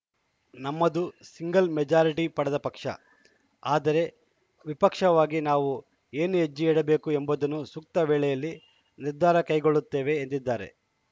ನಮ್ಮದು single majority ಪಡೆದ ಪಕ್ಷ ಆದರೆ ವಿಪಕ್ಷವಾಗಿ ನಾವು ಏನು ಹೆಜ್ಜೆ ಇಡಬೇಕು ಎಂಬುದನ್ನು ಸೂಕ್ತ ವೇಳೆಯಲ್ಲಿ ನಿರ್ಧಾರ ಕೈಗೊಳ್ಳುತ್ತೇವೆ ಎದಿದ್ದಾರೆ